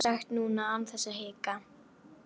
Það getur hún sagt núna án þess að hika.